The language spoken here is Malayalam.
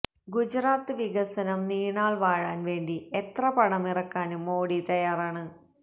ഗുജറാത്ത് വികസനം നീണാള് വാഴാന് വേണ്ടി എത്ര പണമിറക്കാനും മോഡി തയ്യാറാണ്